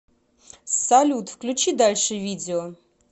салют включи дальше видео